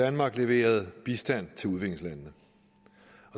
danmark leveret bistand til udviklingslandene